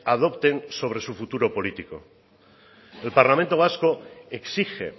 adopten sobre su futuro político el parlamento vasco exige